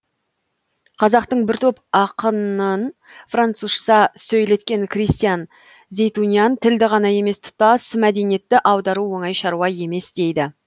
қазақтың бір топ ақынын французша сөйлеткен кристиян зейтунян тілді ғана емес тұтас мәдениетті аудару оңай шаруа емес дейді